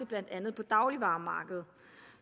blandt andet dagligvaremarkedet